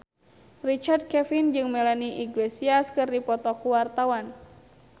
Richard Kevin jeung Melanie Iglesias keur dipoto ku wartawan